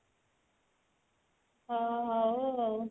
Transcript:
ହଁ ହଉ ଆଉ